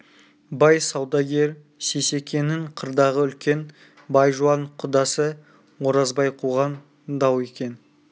бай саудагер сейсекенің қырдағы үлкен бай жуан құдасы оразбай қуған дау екен